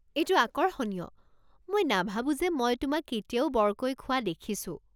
এইটো আকৰ্ষণীয়, মই নাভাবো যে মই তোমাক কেতিয়াও বৰকৈ খোৱা দেখিছো।